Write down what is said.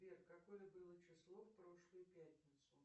сбер какое было число в прошлую пятницу